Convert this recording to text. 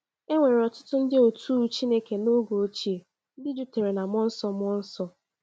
E nwere ọtụtụ ndị otú u Chineke n’oge ochie ndị jupụtara na mmụọ nsọ mmụọ nsọ.